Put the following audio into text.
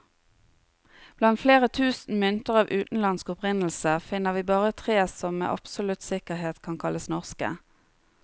Blant flere tusen mynter av utenlandsk opprinnelse, finner vi bare tre som med absolutt sikkerhet kan kalles norske.